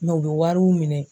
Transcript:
u bɛ wariw minɛn.